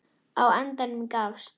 Á endanum gafst